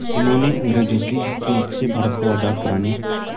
जिन्होंने अंग्रेज़ों की हुकूमत से भारत को आज़ाद कराने